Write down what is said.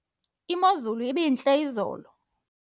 imozulu ibintle izolo